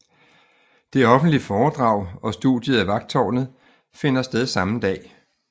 Det offentlige foredrag og studiet af Vagttårnet finder sted samme dag